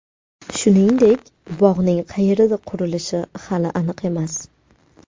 Shuningdek, bog‘ning qayerda qurilishi hali aniq emas.